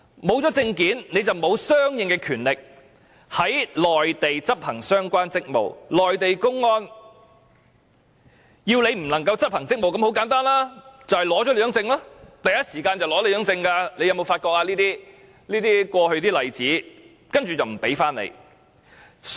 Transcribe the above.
沒有證件，便沒有相應的權力在內地執行相關職務，內地公安要港方人員不能執行職務，很簡單，就是取去他們的證件，是第一時間取走他們的證件，大家有否從過去的例子發覺這種情況？